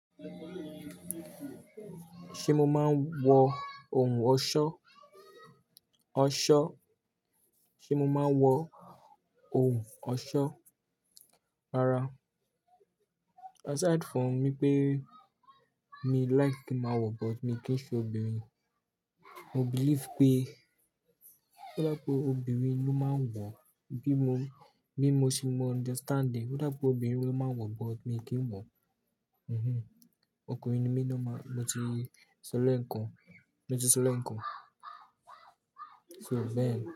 Ṣé mo máa ń wọ ohun ọ̀ṣọ̀? Ọ̀ṣọ́. Sé mo máa ń wọ ohun ọ̀ṣọ́? Rárá. Aside from yi pé mi like kí ma wọ, but mi kì í ṣe obìnrin. Mo believe pé ó dá pé obìnrin ló máa ń wọ̀, bí mo, bí mo ṣe mó understanding, ó dá pé obìnrin ló máa ń wọ̀, but mi kì í wọ̀. Mhm. Ọkùnrin ni mí ni mo máa, mo ti sọ lẹ ǹkan, mo ti sọ lẹ ǹkan. So then.